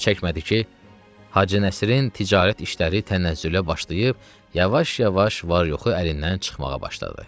Çox çəkmədi ki, Hacı Nəsirin ticarət işləri tənəzzülə başlayıb, yavaş-yavaş var-yoxu əlindən çıxmağa başladı.